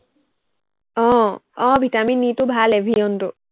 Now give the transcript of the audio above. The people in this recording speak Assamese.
আহ আহ ভিটামিন ই টো ভাল এভিয়নটো